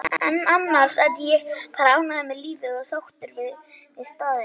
en annars er ég bara ánægður með lífið og sáttur við staðinn.